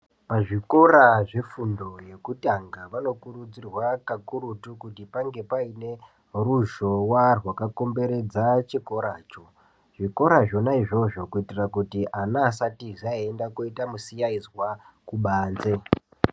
Pazvikora zvefundo yekutanga pano kurudzirwa kakurutu kuti pange paine ruzhowa rwakakomberedza chikoracho, zvikora zvona izvozvo kuti vana vasaita misiaizwa veibuda kubanze.